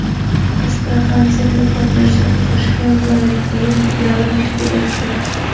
Astraxan texnika universitetining Toshkent viloyatidagi filiali tashkil etildi.